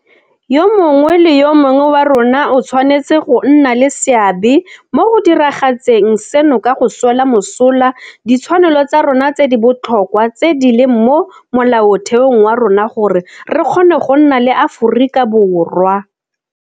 Yo mongwe le yo mongwe wa rona o tshwanetse go nna le seabe mo go diragatseng seno ka go swela mosola ditshwanelo tsa rona tse di botlhokwa tse di leng mo Molaotheong wa rona gore re kgone go nna le Aforika Borwa.